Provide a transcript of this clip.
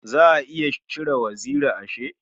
Za a iya cire waziri ashe?